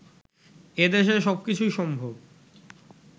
এদেশে সবকিছুই সম্ভব